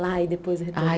Lá e depois Ai